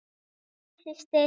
Elska þig, systir.